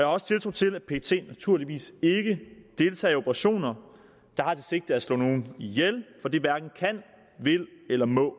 også tiltro til at pet naturligvis ikke deltager i operationer der har det sigte at slå nogen ihjel for det hverken kan vil eller må